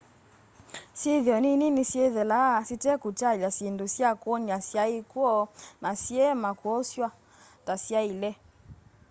syithio nini ni syithelaa syitekutialya syindũ sya kwonia syai kwo na siema kwoswa ta syaile